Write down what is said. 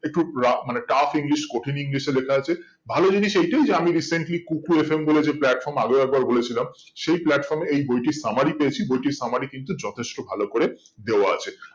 একটু রা মানে tough english কঠিন english এ লেখা আছে ভালো জিনিস এটাই যে আমি recently kuku FM যেই platform আগেও একবার বলে ছিলাম সেই platform এই বইটির summary পেয়েছি বইটির summary কিন্তু যথেষ্ট ভালো করে দেওয়া আছে